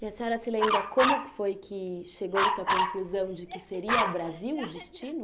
E a senhora se lembra como foi que chegou-se à conclusão de que seria o Brasil o destino?